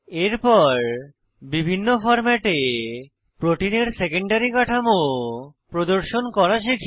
এরপর বিভিন্ন ফরম্যাটে প্রোটিনের সেকেন্ডারী কাঠামো প্রদর্শন করা শিখি